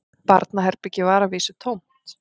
Barnaherbergið var að vísu tómt